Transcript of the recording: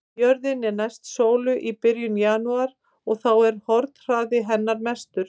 Jörðin er næst sólu í byrjun janúar og þá er hornhraði hennar mestur.